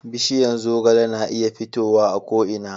bishiyan zogale na iya fitowa a ko ina